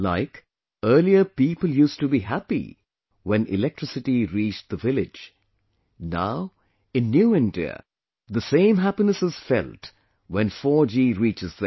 Like, earlier people used to be happy when electricity reached the village; now, in new India, the same happiness is felt when 4G reaches there